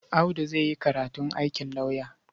Audu zai yi karatun aikin lauyer.